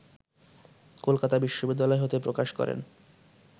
কলকাতা বিশ্ববিদ্যালয় হতে প্রকাশ করেন